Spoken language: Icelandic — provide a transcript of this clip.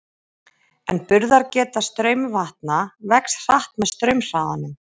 En burðargeta straumvatna vex hratt með straumhraðanum.